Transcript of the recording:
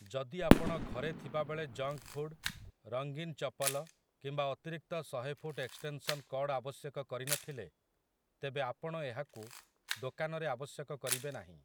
ଯଦି ଆପଣ ଘରେ ଥିବାବେଳେ ଜଙ୍କ୍ ଫୁଡ୍, ରଙ୍ଗୀନ ଚପଲ କିମ୍ବା ଅତିରିକ୍ତ ଶହେ ଫୁଟ୍ ଏକ୍ସଟେନ୍‌ସନ୍ କର୍ଡ ଆବଶ୍ୟକ କରିନଥିଲେ, ତେବେ ଆପଣ ଏହାକୁ ଦୋକାନରେ ଆବଶ୍ୟକ କରିବେ ନାହିଁ ।